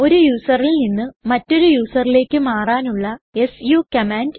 ഒരു userൽ നിന്ന് മറ്റൊരു userലേക്ക് മാറാനുള്ള സു കമാൻഡ്